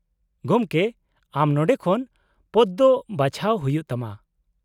-ᱜᱚᱢᱠᱮ, ᱟᱢ ᱱᱚᱰᱮ ᱠᱷᱚᱱ ᱯᱚᱫᱽ ᱫᱚ ᱵᱟᱪᱷᱟᱣ ᱦᱩᱭᱩᱜ ᱛᱟᱢᱟ ᱾